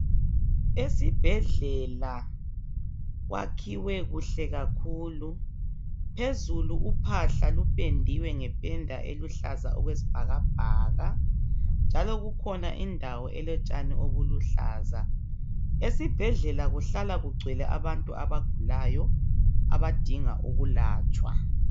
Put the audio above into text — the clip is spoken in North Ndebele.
Esibhedlela kwakhiwe kuhle kakhulu phezulu uphahla lupendiwe ngependa eluhlaza okwesibhakabhaka njalo kukhona indawo elotshani obuluhlaza esibhedlela kuhlala kungcwele abantu abagulayo abadinga ukulatshwa.